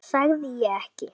Sagði ég ekki?